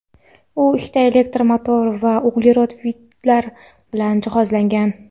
U ikkita elektr motor va uglerod vintlar bilan jihozlangan.